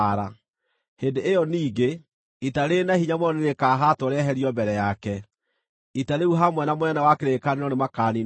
Hĩndĩ ĩyo ningĩ, ita rĩrĩ na hinya mũno nĩrĩkahaatwo rĩeherio mbere yake; ita rĩu hamwe na mũnene wa kĩrĩkanĩro nĩmakaniinwo biũ.